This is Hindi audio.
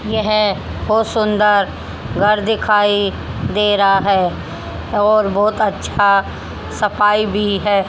ये है बहुत सुंदर घर दिखाई दे रहा है और बहुत अच्छा सफाई भी है।